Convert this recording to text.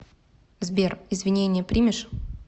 сбер извинения примешь